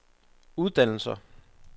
uddannelser